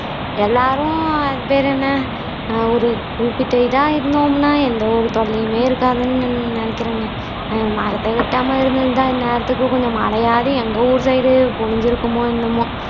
எல்லாரும் அது பேரு என்ன அஹ் ஒரு குறிப்பிட்ட இதா இருந்தோம்னா எந்த ஒரு தொல்லையுமே இருக்காதுன்னு நி நினைக்கிறேங்க அஹ் மரத்தை வெட்டாம இருந்துருந்தா இன்நேரத்துக்கு மழையாவது எங்க ஊர் side உ பொழிஞ்சுருக்குமோ என்னவோ